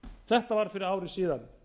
þetta var fyrir ári síðan